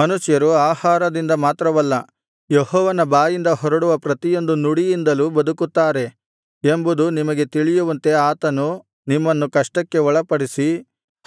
ಮನುಷ್ಯರು ಆಹಾರದಿಂದ ಮಾತ್ರವಲ್ಲ ಯೆಹೋವನ ಬಾಯಿಂದ ಹೊರಡುವ ಪ್ರತಿಯೊಂದು ನುಡಿಯಿಂದಲೂ ಬದುಕುತ್ತಾರೆ ಎಂಬುದು ನಿಮಗೆ ತಿಳಿಯುವಂತೆ ಆತನು ನಿಮ್ಮನ್ನು ಕಷ್ಟಕ್ಕೆ ಒಳಪಡಿಸಿ